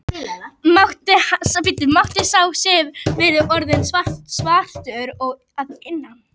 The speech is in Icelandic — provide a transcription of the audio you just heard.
Matti, sá hefur verið orðinn svartur að innan.